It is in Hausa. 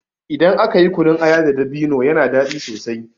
Idan aka yi kunun aya da dabino yana daɗi sosai.